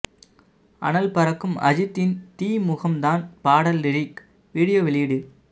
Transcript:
அனல் பறக்கும் அஜித்தின் தீ முகம் தான் பாடல் லிரிக் வீடியோ வெளியீடு